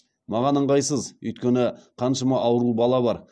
маған ыңғайсыз өйткені қаншама ауру бала бар